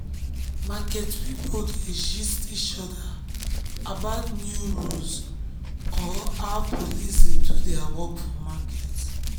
market people dey gist each other about new rules or how police dey do their work for market.